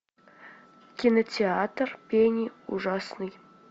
кинотеатр пени ужасной